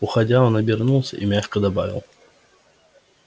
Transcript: уходя он обернулся и мягко добавил